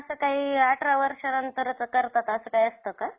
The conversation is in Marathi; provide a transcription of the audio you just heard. हम्म भरपूर घेतलवतं मग.